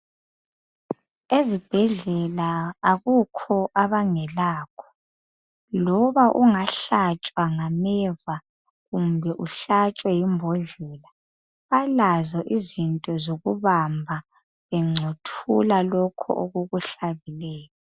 Ezibhedlela akukho abangelakho. Loba ungahlatshwa ngameva kumbe uhlatshwe yimbodlela, balazo izinto zokubamba bengcothula lokhu okukuhlabileyo.